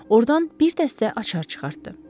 Ordan bir dəstə açar çıxartdı.